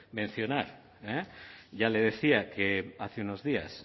mencionar ya le decía que hace unos días